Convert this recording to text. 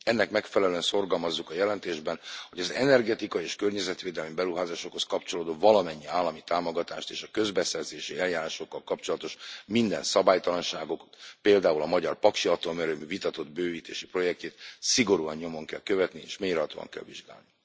Ennek megfelelően szorgalmazzuk a jelentésben, hogy az energetikai és környezetvédelmi beruházásokhoz kapcsolódó valamennyi állami támogatást és a közbeszerezési eljárásokkal kapcsolatos minden szabálytalanságot például a magyar Paksi Atomerőmű vitatott bővítési projektjét szigorúan nyomon kell követni és mélyrehatóan kell vizsgálni.